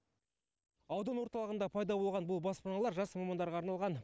аудан орталығында пайда болған бұл баспаналар жас мамандарға арналған